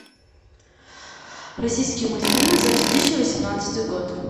российские мультфильмы за две тысячи восемнадцатый год